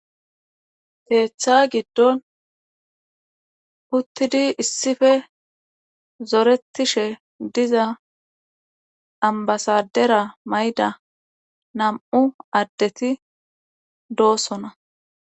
Ketha gidoni utidi issipe zoretishe diza amba sadera mayida nam'u adeti dossona